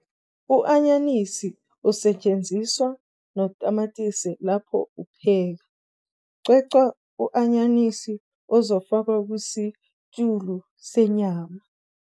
U-anyanisi usetshenziswa notamatisi lapho upheka. cwecwa u-anyanisi ozofakwana kusitshulu senyama